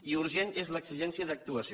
i urgent és l’exigència d’actuació